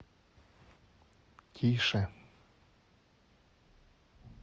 тише